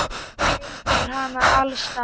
Bleytir hana alls staðar.